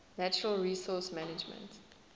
natural resource management